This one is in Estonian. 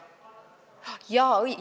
Ahjaa!